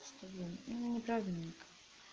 неправильно